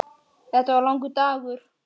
Þetta var langur dagur.